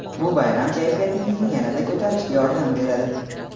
Bu bayram kayfiyatingizni yanada ko‘tarishga yordam beradi.